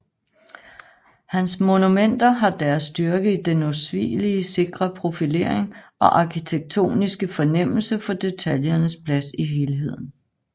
Hans monumenter har deres styrke i den usvigelig sikre profilering og arkitektoniske fornemmelse for detaljens plads i helheden